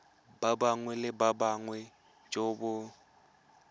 bongwe le bongwe jo bo